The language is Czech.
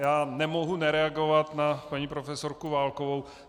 Já nemohu nereagovat na paní profesorku Válkovou.